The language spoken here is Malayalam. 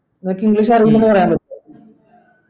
നിനക്കു english പറയാൻ പറ്റുവോ